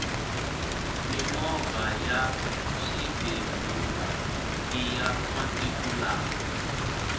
mimovha ya swibebula iya masiku lawa